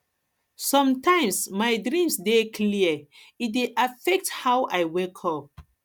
sometimes my dreams dey clear e dey affect how i wake up